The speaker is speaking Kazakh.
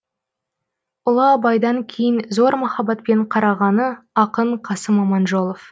ұлы абайдан кейін зор махаббатпен қарағаны ақын қасым аманжолов